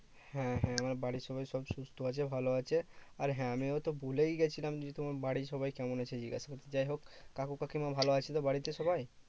হ্যাঁ হ্যাঁ, আমার বাড়ির সবাই সব সুস্থ আছে ভালো আছে। আর হ্যাঁ আমি হয়তো ভুলেই গেছিলাম যে, তোমার বাড়ির সবাই কেমন আছে জিজ্ঞেস করতে? যাইহোক কাকু কাকিমা ভালো আছে তো বাড়িতে সবাই?